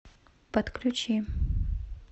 подключи